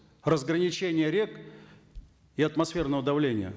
разграничение рек и атмосферного давления